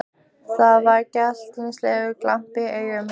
Það var glettnislegur glampi í augunum á henni.